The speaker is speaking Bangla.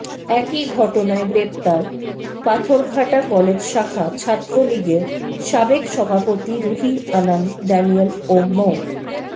একই ঘটনায় গ্রেপ্তার পাথরঘাটা কলেজ শাখা ছাত্রলীগের সাবেক সভাপতি রুহি আনান ডেনিয়েল ও মো